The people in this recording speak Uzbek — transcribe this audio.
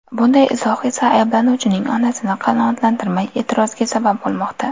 Bunday izoh esa ayblanuvchining onasini qanoatlantirmay, e’tiroziga sabab bo‘lmoqda.